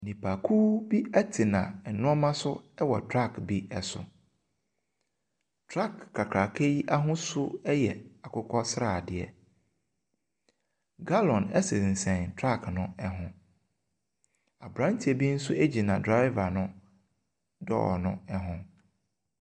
Nnipakuw bi tena nnoɔma so wɔ truck ni so. Truck kakraka yi ahosu yɛ akokɔsradeɛ. Gallon sesɛn truck no ho. Abranteɛ bi nso gyina driver no door no ho.